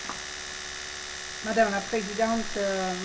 Ďakujem spravodajkyni za vynikajúcu správu.